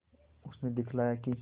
उसने दिखलाया कि